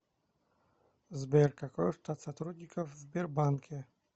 сбер какой штат сотрудников в сбербанке